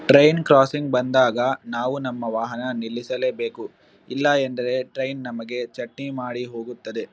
Train crossing ಬಂದಾಗ ನಾವು ನಮ್ಮ ವಾಹನ ನಿಲ್ಲಿಸಲೇಬೇಕು ಇಲ್ಲಾ ಎಂದರೆ ಟ್ರೈನ್ ನಮ್ಮಗೆ ಚಟ್ನಿ ಮಾಡಿ ಹೋಗುತ್ತದೆ.